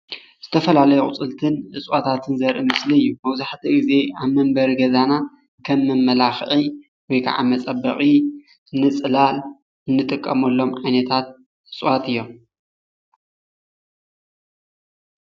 ዝተፈላለዩ ኣቁፅልትን እፅዋታትን ዘርኢ ምስሊ እዩ፡፡ መብዛሕትኡ ግዜ ኣብ መንበሪ ገዛና ከም መመላክዒ ወይ ከዓ መፀበቂ ንፅላል እንጥቀመሎም ዓይነታት እፅዋት እዮም፡፡